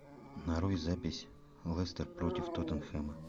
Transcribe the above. нарой запись лестер против тоттенхэма